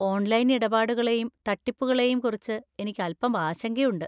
Online ഇടപാടുകളെയും തട്ടിപ്പുകളെയും കുറിച്ച് എനിക്ക് അൽപ്പം ആശങ്കയുണ്ട്.